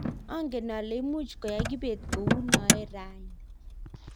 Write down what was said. angen ale much koyai kibet kou noe raini.